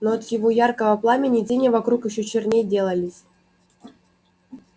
но от его яркого пламени тени вокруг ещё черней делались